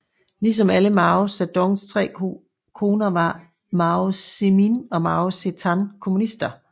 Ligesom alle Mao Zedongs tre koner var Mao Zemin og Mao Zetan kommunister